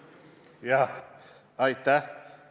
Aitäh!